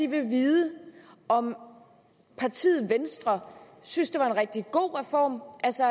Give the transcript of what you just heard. vil vide om partiet venstre synes at det var en rigtig god reform altså